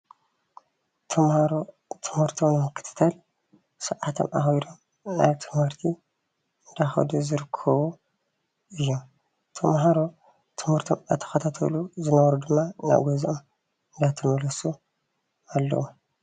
ተማሃሮ ትምህርቶም ንምክትትል ሰዓቶም ኣክቢሮ ናብ ትምህርቲ እንዳከዱ ዝርከቡ እዮም፡፡ ተማሃሮ ትምህርቶም እናተከታተሉ ዝነበሩ ድማ ናብ ገዝኦ እንዳተመለሱ ኣለዉ፡፡